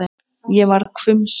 Ég varð hvumsa.